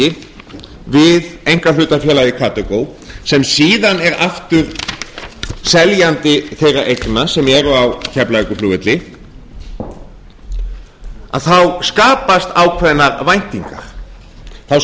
tilfelli við einkahlutafélagið karþagó sem síðan er aftur seljandi þeirra eigna sem eru á keflavíkurflugvelli þá skapast ákveðnar væntingar þá